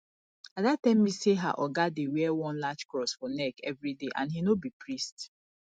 ada tell me say her oga dey wear one large cross for neck everyday and he no be priest